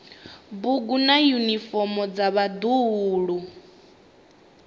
bugu na yunifomo dza vhaḓuhulu